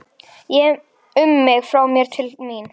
Ég um mig frá mér til mín.